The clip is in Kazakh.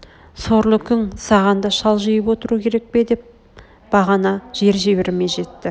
сорлы күң саған да шалжиып отыру керек пе деп ғана жер-жебрме жетті